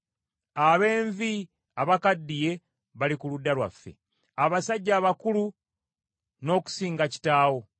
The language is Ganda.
Ab’envi abakaddiye bali ku ludda lwaffe, abasajja abakulu n’okusinga kitaawo.